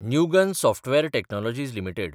Newgen software technologies limited